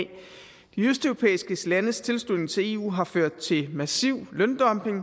de østeuropæiske landes tilslutning til eu har ført til massiv løndumping